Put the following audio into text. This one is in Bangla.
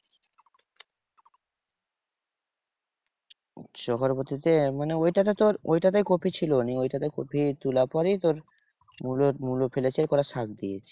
চক্রবর্তীতে? মানে ওইটা তে তোর ঐটাতেই কপি ছিল। ঐটাতে কপি তোলার পরেই তোর, মুলো মুলো ফেলেছে আর কটা সার দিয়েছে।